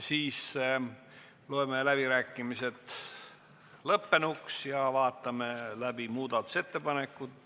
Siis loeme läbirääkimised lõppenuks ja vaatame läbi muudatusettepanekud.